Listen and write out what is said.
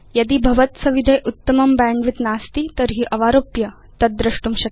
यदि भवत्सविधे उत्तमं बैण्डविड्थ नास्ति तर्हि अवारोप्य तद् द्रष्टुं शक्यम्